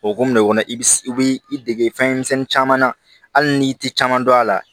O kumana o kɔnɔ i bi i bi dege fɛn misɛnnin caman na hali n'i ti caman dɔn a la